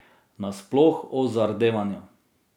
Nasploh o zardevanju.